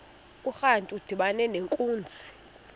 urantu udibana nenkunzi